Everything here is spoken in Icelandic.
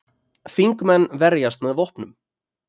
Þingmenn verjast með vopnum